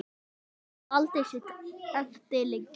Lét aldrei sitt eftir liggja.